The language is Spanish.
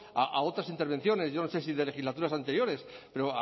a otras intervenciones yo no sé si de legislaturas anteriores pero